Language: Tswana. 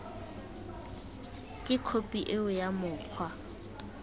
ke khophi eo ya mokgwa